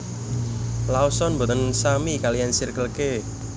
Lawson mboten sami kaliyan Circle K